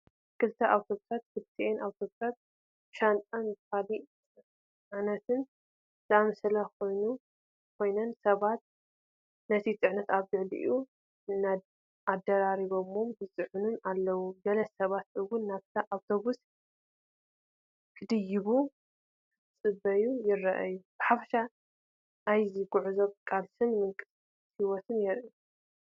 ክልተ ኣውቶቡሳት፣ ክልቲአን ኣውቶቡሳት ብሻንጣን ካልእ ጽዕነትን ዝመልኣ ኮይነን፡ ሰባት ነቲ ጽዕነት ኣብ ልዕሊኡ ኣደራሪቦምን ይጽዕኑን ኣለዉ። ገለ ሰባት እውን ናብታ ኣውቶቡስ ክድይቡ ክጽበዩ ይረኣዩ። ብሓፈሻ ናይ ጉዕዞን ቃልስን ምንቅስቓስ ህይወትን የርኢ።